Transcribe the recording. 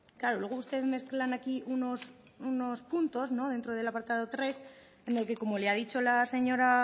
claro ustedes mezclan aquí unos puntos dentro del apartado tres en el que como le ha dicho la señora